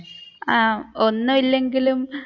ആഹ് ഒന്നുമില്ലെങ്കിലും